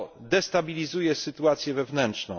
To destabilizuje sytuację wewnętrzną.